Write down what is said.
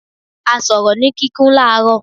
A sọ̀rọ̀ ni kíkún ní laro.